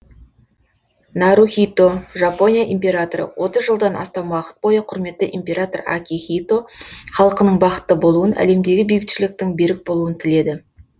нарухито жапония императоры отыз жылдан астам уақыт бойы құрметті император акихито халқының бақытты болуын әлемдегі бейбітшіліктің берік болуын тіледі